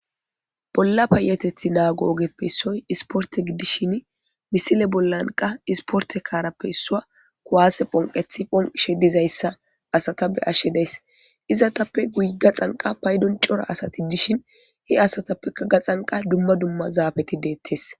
bolla payatethi naago ogeppe issoy isporte giddishin misile bollanqa isporte kaarappe issua kuwaase phonqethi phonqishe dizayssa asata be ashshe deys izatappe guy ga xanqa paydon cora asati dishin he asatappeka gaxanqa dumma dumma zaabeti deettes